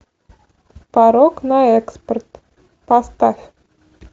порок на экспорт поставь